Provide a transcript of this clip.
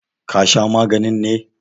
ka Sha magani ne!